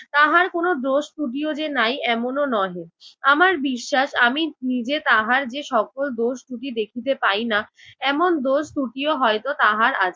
তাহার কোনো দোষ ত্রুটিও যে নাই এমনও নহে। আমার বিশ্বাস আমি নিজে তাহার যে সকল দোষ ত্রুটি দেখিতে পাই না এমন দোষ ত্রুটিও হয়তো তাহার আছে।